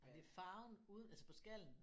Er det farven ude altså på skallen?